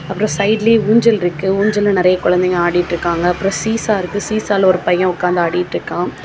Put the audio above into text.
அப்புறம் சைடுலியே ஊஞ்சல் இருக்கு ஊஞ்சல்ல நிறைய குழந்தைங்க ஆடிட்டு இருக்காங்க அப்புறம் சீசருக்கு சீசால ஒரு பையன் உட்கார்ந்து ஆடிட்டு இருக்கான்.